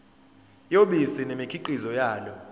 yobisi nemikhiqizo yalo